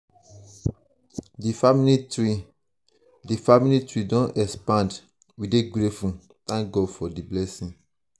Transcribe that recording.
di family tree di family tree don expand we dey grateful thank god for di blessing.